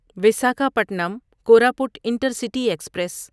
Visakhapatnam Koraput intercity express